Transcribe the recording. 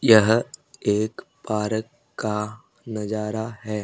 यह एक पारक का नजारा है।